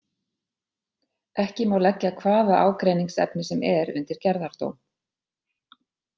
Ekki má leggja hvaða ágreiningsefni sem er undir gerðardóm.